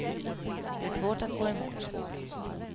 Det är svårt att gå emot.